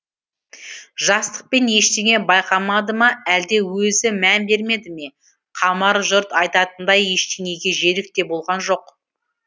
жастықпен ештеңе байқамады ма әлде өзі мән бермеді ме қамар жұрт айтатындай ештеңеге жерік те болған жоқ